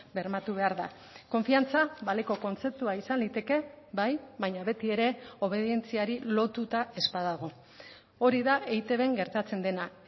bermatu behar da konfiantza baleko kontzeptua izan liteke bai baina beti ere obedientziari lotuta ez badago hori da eitbn gertatzen dena